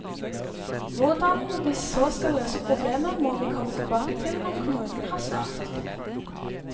Hvordan vi så skal løse problemet, må vi komme tilbake til når kommunen har svart.